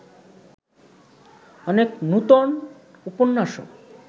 অনেক নূতন উপন্যাসও